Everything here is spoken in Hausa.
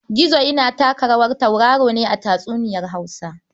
Gizo yana taka rawar tauraro ne a tatsuniyar Hausa.